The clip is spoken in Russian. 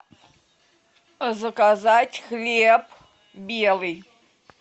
заказать хлеб белый